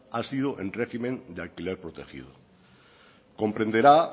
han sido en régimen de alquiler protegido comprenderá